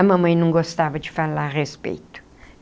A mamãe não gostava de falar a respeito.